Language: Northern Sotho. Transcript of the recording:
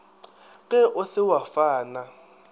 ge o se wa fana